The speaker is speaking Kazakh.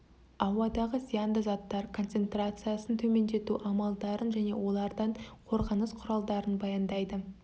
ауадағы зиянды заттар концентрациясын төмендету амалдарын және де олардан қорғаныс құралдарын баяндайды